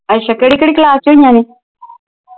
ਅੱਛਾ ਕਿਹੜੀ ਕਿਹੜੀ ਕਲਾਸ ਚ ਹੋਈਆ ਨੇ?